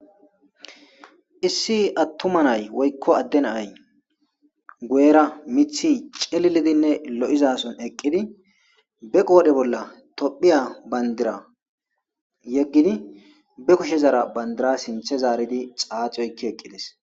issi attuma nay woykko adde nay gu'ra mithi celilidinne lo'zason eqqidi be qoodhe bolla tophiya bandira yeggidi be kushezara bandira sinthe zaaridi xaaxi oykki eqqides.